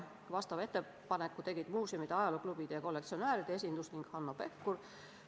Vastava ettepaneku tegid muuseumide, ajalooklubide ja kollektsionääride esindus ning Hanno Pevkur.